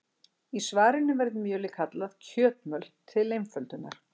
Í svarinu verður mjölið kallað kjötmjöl til einföldunar.